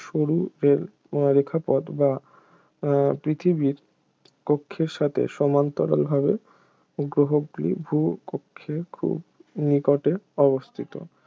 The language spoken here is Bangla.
সরু রে রেখাপথ বা উহ পৃথিবীর কক্ষের সাথে সমান্তরভাবে গ্রহটি ভূকক্ষের খুব নিকটে অবস্থিত